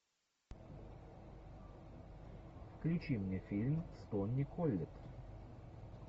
включи мне фильм с тони коллетт